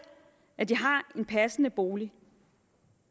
at de har en passende bolig